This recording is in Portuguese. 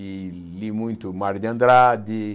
E li muito Mário de Andrade.